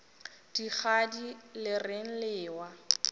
dikgadi le reng le ewa